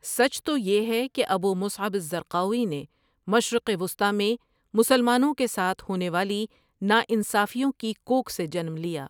سچ تو یہ ہے کہ ابو مصعب الزرقاوی نے مشرق وسطیٰ میں مسلمانوں کے ساتھ ہونے والی ناانصافیوں کی کوکھ سے جنم لیا۔